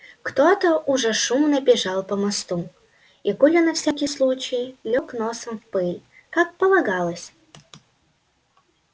кто то уже шумно бежал по мосту и коля на всякий случай лёг носом в пыль как полагалось